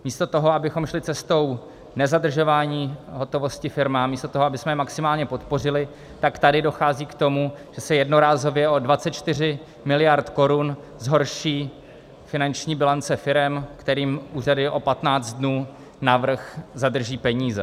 Místo toho, abychom šli cestou nezadržování hotovosti firmám, místo toho, abychom je maximálně podpořili, tak tady dochází k tomu, že se jednorázově o 24 miliard korun zhorší finanční bilance firem, kterým úřady o 15 dnů navrch zadrží peníze.